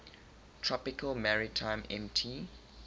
tropical maritime mt